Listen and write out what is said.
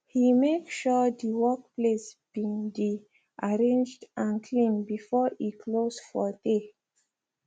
he make sure de workplace be de arranged and clean before e close for dey